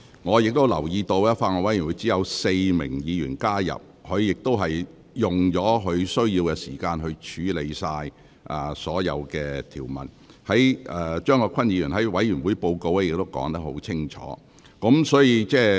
我留意到，法案委員會只有4名議員加入，法案委員會亦已處理所有條文，而委員會報告中亦已作出清楚解釋。